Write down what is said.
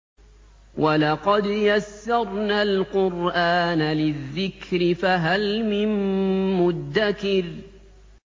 وَلَقَدْ يَسَّرْنَا الْقُرْآنَ لِلذِّكْرِ فَهَلْ مِن مُّدَّكِرٍ